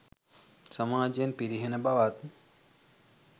සමාජයේ පිරිහෙන බවත්